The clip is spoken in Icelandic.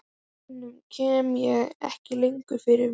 Hinum kem ég ekki lengur fyrir mig.